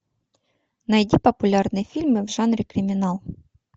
найди популярные фильмы в жанре криминал